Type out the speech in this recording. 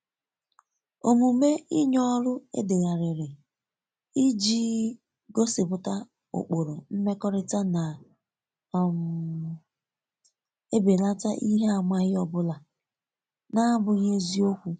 omume inye ọrụ edeghariri ijii gosipụta ụkpụrụ mmekọrita na um ebelata ihe amaghi ọbụla n'abughi eziokwu eziokwu